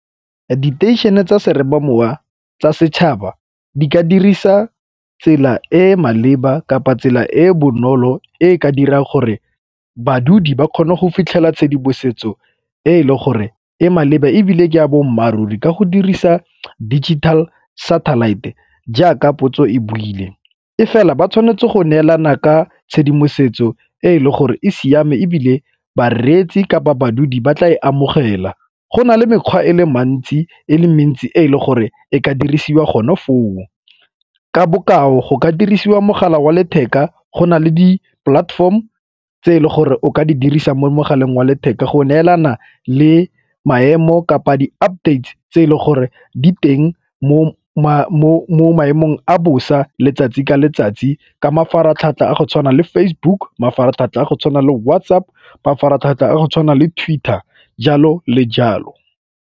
Diteišene tsa seromamowa tsa setšhaba di ka dirisa tsela e e maleba kapa tsela e e bonolo e e ka dirang gore badudi ba kgona go fitlhela tshedimosetso e e leng gore e maleba ebile ke a boammaaruri ka go dirisa digital satellite jaaka potso e buile. E fela ba tshwanetse go neelana ka tshedimosetso e e leng gore e siame ebile bareetsi kapa badudi ba tla e amogela. Go na le mekgwa e le mentsi e le mentsi e e leng gore e ka dirisiwa gone foo, ka bokao go ka dirisiwa mogala wa letheka go na le di-platform tse e le gore o ka di dirisa mo mogaleng wa letheka go neelana le maemo kapa di-update tse e le gore di teng mo maemong a bosa letsatsi ka letsatsi ka mafaratlhatlha a go tshwana le Facebook, mafaratlhatlha a go tshwana le WhatsApp, mafaratlhatlha a go tshwana le Twitter, jalo le jalo.